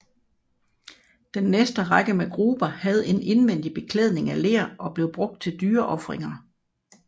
Den næste række med gruber havde en indvendig beklædning af ler og blev brugt til at dyreofringer